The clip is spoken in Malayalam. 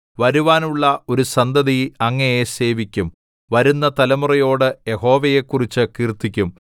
വരുവാനുള്ള ഒരു സന്തതി അങ്ങയെ സേവിക്കും വരുന്ന തലമുറയോട് യഹോവയെക്കുറിച്ച് കീർത്തിക്കും